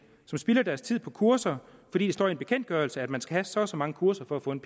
som spilder deres tid på kurser fordi det står i en bekendtgørelse at man skal have så og så mange kurser for at få en